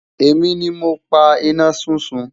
èmi ní mọ pá iná súnsun